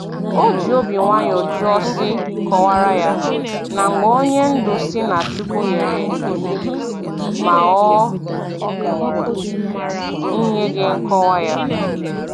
O ji obi nwayọ jụọ sị kọwara ya, na mgbe onye ndu sị na Chukwu nyere iwu ma o nyeghị nkọwa ya